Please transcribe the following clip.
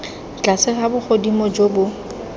tlase ga bogodimo jo bo